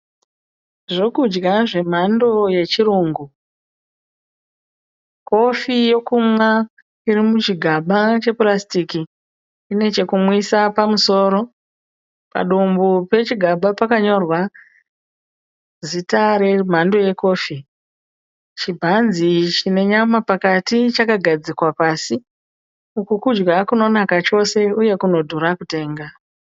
Zvekudya zvemhando yechirungu, kofi yekunwa iri muchigaba chepurasitiki ine chekumwisa pamusoro, padumbu pechigaba pakanyorwa zita remando yekofi. Chibhanzi chine nyama pakati chakagadzikwa pasi. Uku kudya kunonaka chose uye kunodhura kutenga.